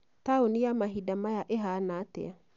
taũni ya mahinda maya ĩhaana atĩa?